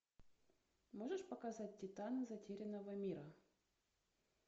можешь показать титаны затерянного мира